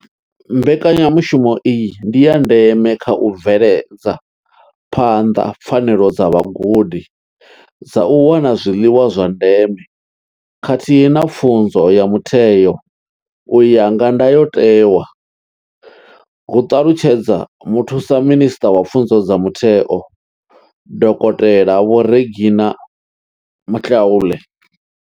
Mbekanyamushumo iyi ndi ya ndeme kha u bveledza phanḓa pfanelo dza vhagudi dza u wana zwiḽiwa zwa ndeme khathihi na pfunzo ya mutheo u ya nga ndayotewa, hu ṱalutshedza muthusa minisṱa wa pfunzo dza mutheo, dokotela Vho Reginah Mhaule.